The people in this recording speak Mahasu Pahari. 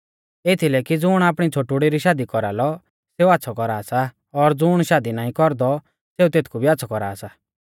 एथीलै कि ज़ुण आपणी छ़ोटुड़ी री शादी कौरालौ सेऊ आच़्छ़ौ कौरा सा और ज़ुण शादी नाईं कौरदौ सेऊ तेथकु भी आच़्छ़ौ कौरा सा